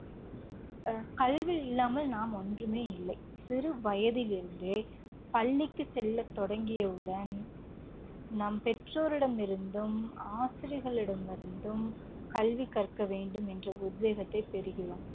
அஹ் கல்வி இல்லாமல் நாம் ஒன்றுமே இல்லை. சிறு வயதிலிருந்தே பள்ளிக்குச் செல்லத் தொடங்கியவுடன் நம் பெற்றோரிடமிருந்தும், ஆசிரியர்களிடமிருந்தும் கல்வி கற்க வேண்டும் என்ற உத்வேகத்தை பெறுகிறோம்.